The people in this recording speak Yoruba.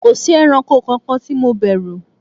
kòsí ẹranko kankan ti mo bèrù